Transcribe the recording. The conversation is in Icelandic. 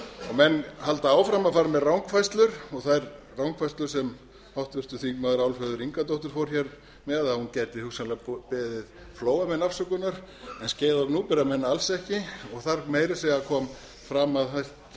menn halda áfram að fara með rangfærslur og það rangfærslur sem háttvirtir þingmenn álfheiður ingadóttir fór með að hún gæti hugsanlega beðið flóamenn afsökunar en skeiða og gnúpverjamenn alls ekki og þar kom meira að segja fram að sá